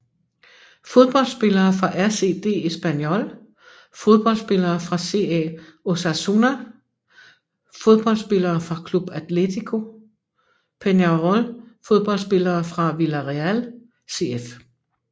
Fodboldspillere fra RCD Espanyol Fodboldspillere fra CA Osasuna Fodboldspillere fra Club Atlético Peñarol Fodboldspillere fra Villarreal CF